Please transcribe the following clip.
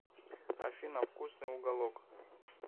афина вкусный уголок